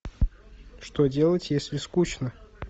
что делать если скучно